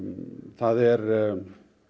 það er